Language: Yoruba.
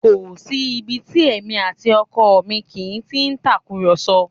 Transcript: Kò sí ibi tí èmi àti ọkọ mi kì í ti í tàkùrọ̀sọ